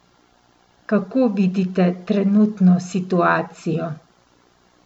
Kako vidite trenutno situacijo?